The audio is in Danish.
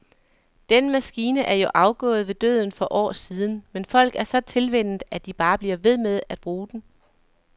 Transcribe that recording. Den maskine er jo afgået ved døden for år siden, men folk er så tilvænnet, at de bare bliver ved med at bruge den.